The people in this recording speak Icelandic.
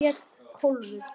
Hún hét Kólfur.